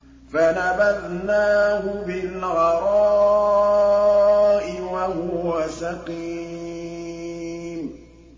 ۞ فَنَبَذْنَاهُ بِالْعَرَاءِ وَهُوَ سَقِيمٌ